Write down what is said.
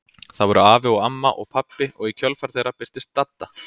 Það voru afi og amma og pabbi og í kjölfar þeirra birtist Dadda.